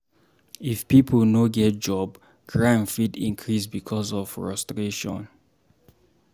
If pipo no get job, crime fit increase because of frustration